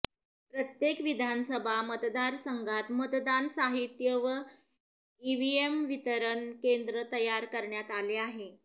प्रत्येक विधानसभा मतदारसंघात मतदान साहित्य व ईव्हिएम वितरण केंद्र तयार करण्यात आले आहे